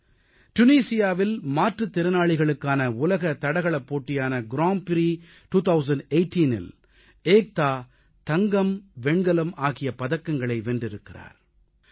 துனிசியாவில் Tunisia மாற்றுத் திறனாளிகளுக்கான உலக தடகளப்போட்டியான கிராண்ட் பிரீ கிராண்ட் பிரிக்ஸ் 2018இல் ஏக்தான் தங்கம் வெண்கலம் ஆகிய பதக்கங்களை வென்றிருக்கிறார்